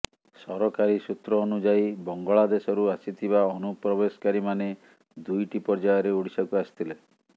ସରକାରୀ ସୂତ୍ର ଅନୁଯାୟୀ ବଙ୍ଗଳା ଦେଶରୁ ଆସିଥିବା ଅନୁପ୍ରବେଶକାରୀମାନେ ଦୁଇଟି ପର୍ଯ୍ୟାୟରେ ଓଡ଼ିଶାକୁ ଆସିଥିଲେ